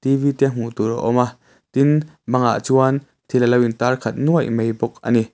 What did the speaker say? te hmuh tur a awm a tin bangah chuan thil a lo intar khat nuai mai bawk a ni.